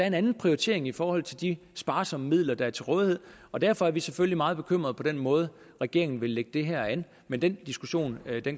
en anden prioritering i forhold til de sparsomme midler der er til rådighed og derfor er vi selvfølgelig meget bekymrede over den måde regeringen vil lægge det her an men den diskussion